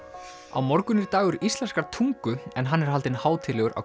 á morgun er dagur íslenskrar tungu en hann er haldinn hátíðlegur á